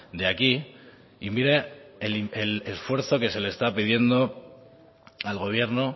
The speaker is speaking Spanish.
de aquí y mire el esfuerzo que se le está pidiendo al gobierno